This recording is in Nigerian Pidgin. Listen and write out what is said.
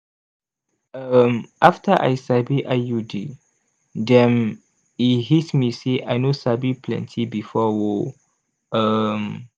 um after i sabi iud dem e hit me say i noh sabi plenty before o! um